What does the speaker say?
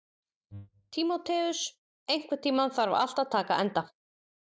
Tímoteus, einhvern tímann þarf allt að taka enda.